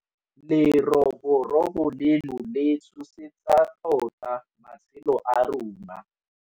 Leroborobo leno le tshosetsa tota matshelo a rona.